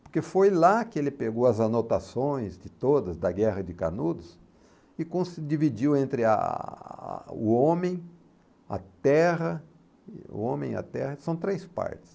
Porque foi lá que ele pegou as anotações de todas, da Guerra de Canudos, e conse e dividiu entre a a o homem, a terra, o homem e a terra, são três partes.